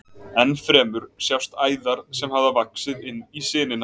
Enn fremur sjást æðar sem hafa vaxið inn í sinina.